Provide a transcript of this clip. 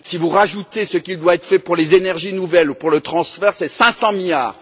Si vous rajoutez ce qui doit être fait pour les énergies nouvelles ou le transfert, comptez 500 milliards.